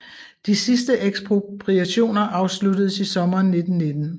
De sidste ekspropriationer afsluttedes i sommeren 1919